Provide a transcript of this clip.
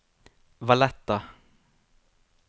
Valletta